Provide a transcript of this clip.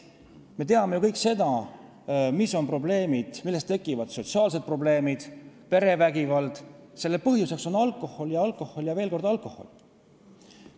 Me teame kõik, millest tekivad sotsiaalsed probleemid ja perevägivald – selle põhjuseks on alkohol, alkohol ja veel kord alkohol.